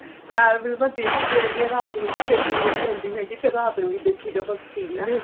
ਚਾਰ ਫਿਲਮਾਂ ਦਿਨ ਚ ਦੇਖਦੀ ਆ ਰਾਤ ਨੂੰ ਵੀ ਫਿਰ ਨੀਂਦ ਨਹੀਂ ਆਉਂਦੀ ਫਿਰ ਰਾਤ ਨੂੰ ਦੇਖੀ ਜਾਓ ਬੱਸ TV